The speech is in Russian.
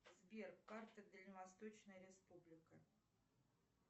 сбер карта дальневосточная республика